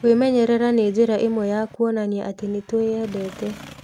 Kwĩmenyerera nĩ njĩra ĩmwe ya kuonania atĩ nĩ twĩendete.